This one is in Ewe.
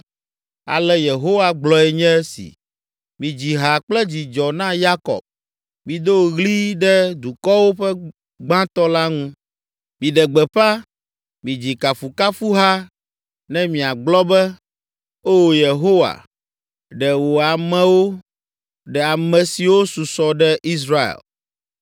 Ale Yehowa gblɔe nye esi: “Midzi ha kple dzidzɔ na Yakob, mido ɣli ɖe dukɔwo ƒe gbãtɔ la ŋu. Miɖe gbeƒã, midzi kafukafuha, ne miagblɔ be, ‘O Yehowa, ɖe wò amewo, ɖe ame siwo susɔ ɖe Israel.’